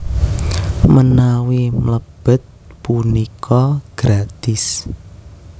Menawi mlebet punika gratis